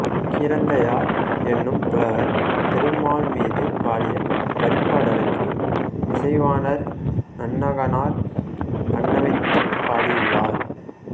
கீரந்தையார் என்னும் புலவர் திருமால்மீது பாடிய பரிபாடலுக்கு இசைவாணர் நன்னாகனார் பண்ணமைத்துப் பாடியுள்ளார்